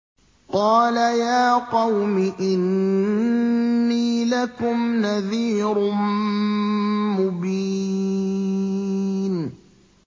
قَالَ يَا قَوْمِ إِنِّي لَكُمْ نَذِيرٌ مُّبِينٌ